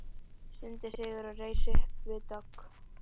stundi Sigríður og reis upp við dogg.